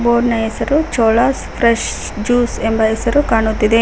Board ನ ಹೆಸರು Cholas fresh juice ಎಂಬ ಹೆಸರು ಕಾಣುತ್ತಿದೆ.